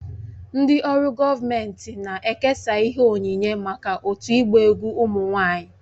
Ndị ọrụ gọọmentị na-ekesa ihe onyinye maka otu ịgba egwu ụmụ nwanyị